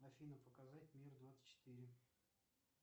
афина показать мир двадцать четыре